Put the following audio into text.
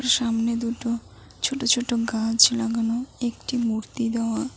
সামনে দুটো ছোট ছোট গাছ লাগানো একটি মূর্তি দেওয়া।